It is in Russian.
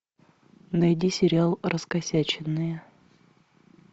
найди сериал раскосяченные